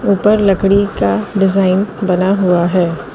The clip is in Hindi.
ऊपर लकड़ी का डिजाइन बना हुआ है।